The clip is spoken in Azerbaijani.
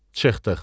Çıxdıq.